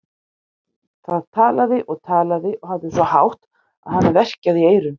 Það talaði og talaði og hafði svo hátt að hana verkjaði í eyrun.